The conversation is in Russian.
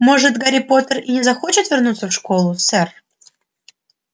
может гарри поттер и не захочет вернуться в школу сэр